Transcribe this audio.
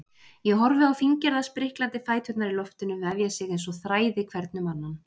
Ég horfi á fíngerða spriklandi fæturna í loftinu vefja sig einsog þræði hvern um annan.